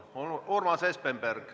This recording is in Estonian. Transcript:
Palun, Urmas Espenberg!